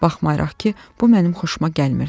Baxmayaraq ki, bu mənim xoşuma gəlmirdi.